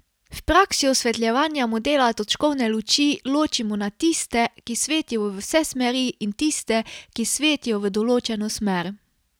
V praksi osvetljevanja modela točkovne luči ločimo na tiste, ki svetijo v vse smeri, in tiste, ki svetijo v določeno smer.